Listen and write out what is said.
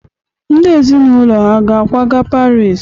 Ndị ezinụlọ ha hà ga-akwaga Paris?